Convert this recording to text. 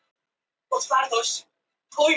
Það var ógurlegt sport hjá þeim að gera at í mömmu.